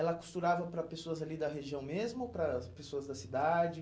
Ela costurava para pessoas ali da região mesmo ou para as pessoas da cidade?